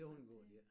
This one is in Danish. Det undgår de æ